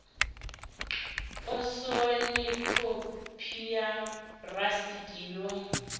posoni khophi ya rasiti yo